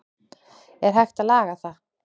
er hægt að laga það